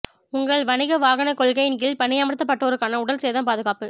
உங்கள் வணிக வாகனக் கொள்கையின் கீழ் பணியமர்த்தப்பட்டோருக்கான உடல் சேதம் பாதுகாப்பு